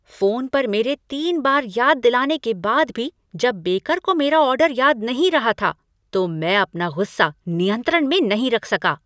Phone पर मेरे तीन बार याद दिलाने के बाद भी जब बेकर को मेरा ऑर्डर याद नहीं रहा था तो मैं अपना गुस्सा नियंत्रण में नहीं रख सका।